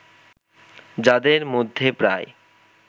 যাদের মধ্যে প্রায়